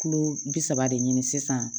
Kilo bi saba de ɲini sisan